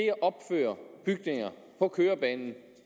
at opføre bygninger på kørebanen og